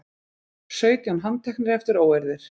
Sautján handteknir eftir óeirðir